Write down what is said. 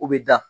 O bɛ da